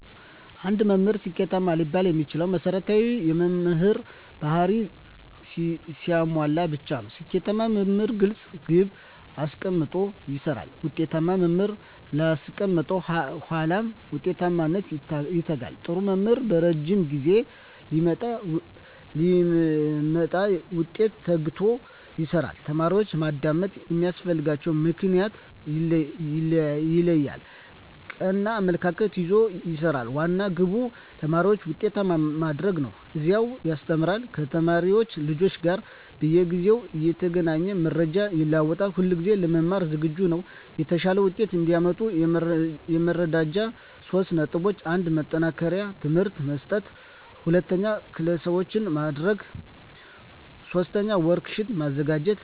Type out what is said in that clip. አንድ መምህር ስኬታማ ሊባል የሚችለው መሰረታዊ የመምህር በህሪያትን ሲያሟላ ብቻ ነው። ስኬታማ መምህር ግለፅ ግብ አሰቀምጦ ይሰራል፣ ውጤታማ መምህር ላስቀመጠው ዓላማ ውጤታማነት ይተጋል፣ ጥሩ መምህር በረጂም ጊዜ ለሚመጣ ውጤት ተግቶ ይሰራል፣ ተማሪዎችን ማዳመጥ የሚያስፈልግበትን ምክንያት ይለያል፣ ቀና አመለካከት ይዞ ይሰራል፤ ዋና ግቡ ተማሪዎችን ውጤታማ ማድረግ ነው፤ እያዝናና ያስተምራል፤ ከተማሪ ወላጆች ጋር በየጊዜው እየተገናኘ መረጃ ይለዋወጣል፣ ሁለጊዜ ለመማር ዝግጁ ነው። የተሻለ ውጤት እዲያመጡ የሚረዷቸው 3 ነጥቦች 1. ማጠናከሪያ ትምህርት መስጠት 2. ክለሣዎችን ማድረግ 3. ወርክ ሽት ማዘጋጀት